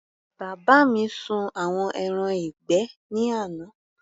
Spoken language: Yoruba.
Bàbá mi sun àwọn ẹran ìgbẹ́ ní àná.